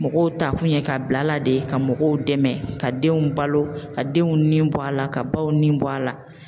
Mɔgɔw ta kun ye ka bila a la de ka mɔgɔw dɛmɛ ka denw balo ka denw ni bɔ a la ka baw nin bɔ a la.